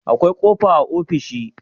akwai kofa a ofishi